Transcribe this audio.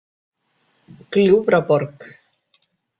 Gljúfraborg